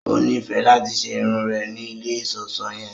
O nifẹ lati ṣe irun rẹ ni ilé iṣọṣọ yẹn